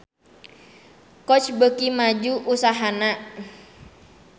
Coach beuki maju usahana